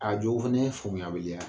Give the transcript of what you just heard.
A jɔ fana ye faamuyabaliya